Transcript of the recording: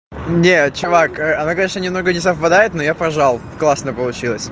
нет чувак она конечно немного не совпадает но я пожал классно получилось